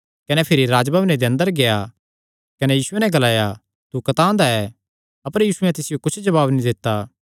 कने भिरी राज्जभवने दे अंदर गेआ कने यीशुये नैं ग्लाया तू कतांह दा ऐ अपर यीशुयैं तिसियो कुच्छ भी जवाब नीं दित्ता